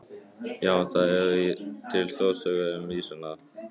Já, það eru til þjóðsögur um ýsuna.